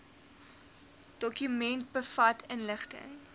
dokument bevat inligting